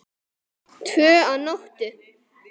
Tvö að nóttu